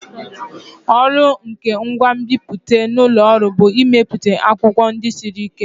Ọrụ nke ngwa nbipute n'ụlọ ọrụ bụ imepụta akwụkwọ ndị siri ike.